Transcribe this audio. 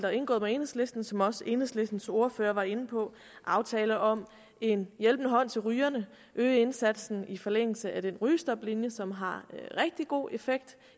er indgået med enhedslisten som også enhedslistens ordfører var inde på aftaler om en hjælpende hånd til rygerne om øge indsatsen i forlængelse af den rygestoplinje som har rigtig god effekt